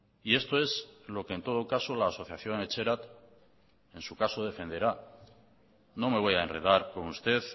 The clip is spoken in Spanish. y esto es lo que en todo caso la asociación etxerat en su caso defenderá no me voy a enredar con usted